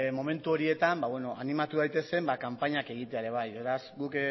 momentu horietan animatu daitezen kanpainak egitea ere bai beraz guk